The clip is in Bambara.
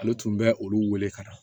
Ale tun bɛ olu wele ka na